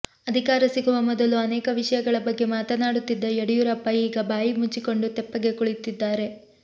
ಅಧಿಕಾರ ಸಿಗುವ ಮೊದಲು ಅನೇಕ ವಿಷಯಗಳ ಬಗ್ಗೆ ಮಾತನಾಡುತ್ತಿದ್ದ ಯಡಿಯೂರಪ್ಪ ಈಗ ಬಾಯಿ ಮುಚ್ಚಿಕೊಂಡು ತೆಪ್ಪಗೆ ಕುಳಿತಿದ್ದಾರೆ